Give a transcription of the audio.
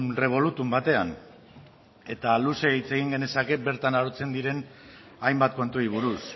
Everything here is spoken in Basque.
revolutum batean eta luze hitz egin genezake bertan arautzen diren hainbat kontuei buruz